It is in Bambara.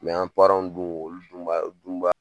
an w dun olu dun b'a dun b'a